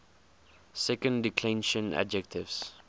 second declension adjectives